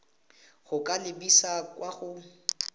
go ka lebisa kwa go